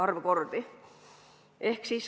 Neid kordi on lugematu arv.